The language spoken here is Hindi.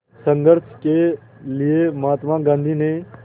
संघर्ष के लिए महात्मा गांधी ने